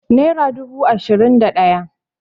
naira dubu ashirin da daya